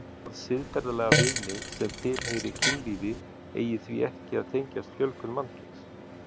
Það siðferðilega viðmið sem tilheyri kynlífi eigi því ekki að tengjast fjölgun mannkyns.